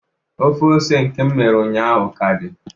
Ofe ose nke m mere ụnyaahụ ọ ka dị?